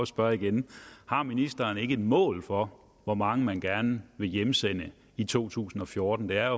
spørge igen har ministeren ikke et mål for hvor mange man gerne vil hjemsende i 2014 det er